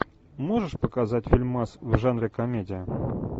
можешь показать фильмас в жанре комедия